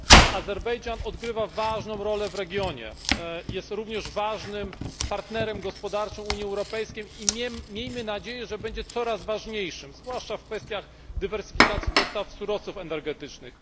Azerbejdżan odgrywa ważną rolę w regionie, jest również ważnym partnerem gospodarczym Unii Europejskiej i miejmy nadzieję, że będzie coraz ważniejszym, zwłaszcza w kwestiach dywersyfikacji dostaw surowców energetycznych.